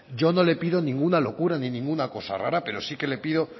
yo no le pido ninguna locura ni ninguna cosa rara pero sí que le pido